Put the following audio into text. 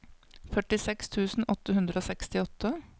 førtiseks tusen åtte hundre og sekstiåtte